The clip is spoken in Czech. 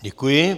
Děkuji.